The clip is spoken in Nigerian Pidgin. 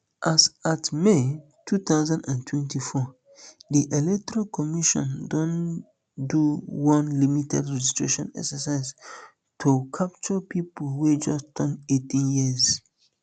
as at may two thousand and twenty-four di electoral commission don do one limited registration exercise to capture pipo wey just turn eighteen years